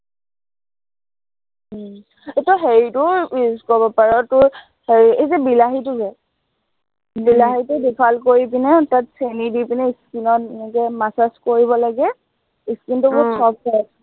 উম তই এৰ হেৰিটোও use কৰিব পাৰ, তোৰ হেৰি এই যে বিলাহীটো যে, বিলাহীটো দুফাল কৰি পিনে তাত চেনি দি পিনে skin ত এনেকে massage কৰিব লাগে skin টো আহ বহুত soft হয়